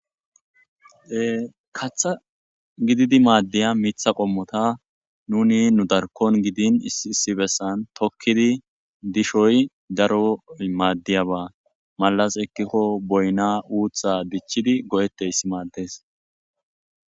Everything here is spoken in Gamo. Katha gididi maaddiya miitha qommota nuni nu darkon gidin issi bessan tokkidi dishoy daroy maaddiyaba malas ekkikko boyna uutha dichchidi go7etteyss maaddes.